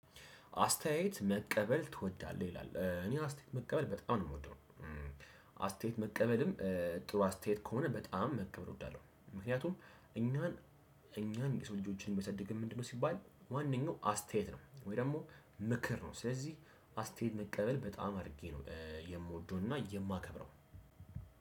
አስተያየት መቀበል ትወዳለህ ይላል እኔ አስተያየት መቀበል በጣም ነው የምወደው። አስተያየት መቀበልም። ጥሩ አስተያየት ከሆነ በጣም መቀበል እወዳለሁ። ምክንያቱም እኛን እኛን የሰው ልጆችን የሚያሳድገን ምንድነው? ሲባል ዋነኛው አስተያየት ነው። ወይም ደግሞ ምክር ነው። ስለዚህ አስተያየት መቀበል በጣም አድርጌ ነው የምወደውና የማከብረው።